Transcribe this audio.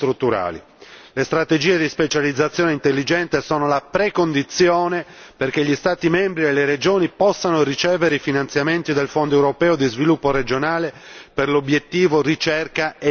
Le strategie di specializzazione intelligente sono la precondizione perché gli Stati membri e le regioni possano ricevere i finanziamenti dal Fondo europeo di sviluppo regionale per l'obiettivo Ricerca e innovazione.